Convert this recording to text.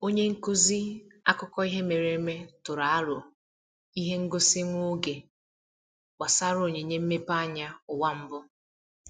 Onye nkuzi akụkọ ihe mere eme tụrụ aro ihe ngosi nwa oge gbasara onyinye mmepeanya ụwa mbụ.